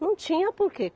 Não tinha porque.